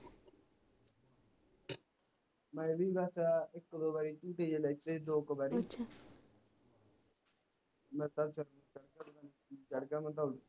ਮੈਂ ਵੀ ਬਸ ਇਕ ਦੋ ਵਾਰੀ ਝੂਟੇ ਜੇ ਲਏ ਦੋ ਕਿ ਵਾਰੀ ਲੱਤਾਂ ਚੜ੍ਹ ਜਾਂਦਾ